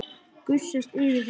Gusast yfir þær.